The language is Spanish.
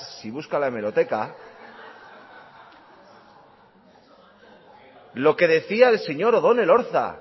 si busca en la hemeroteca lo que decía el señor odón elorza